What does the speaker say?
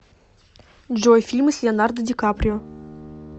джой фильмы с леонардо ди каприо